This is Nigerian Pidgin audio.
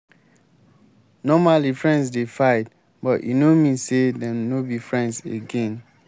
normally friends dey fight but e no mean say dem no be friends again.